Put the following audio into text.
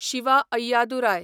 Shiva Ayyadurai